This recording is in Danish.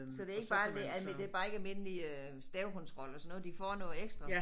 Så det ikke bare er det bare ikke almindelig øh stavekontrol og sådan noget de får noget ekstra